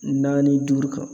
Naani duuru kan.